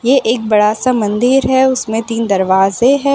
ये एक बड़ा सा मंदिर है उसमें तीन दरवाजे है।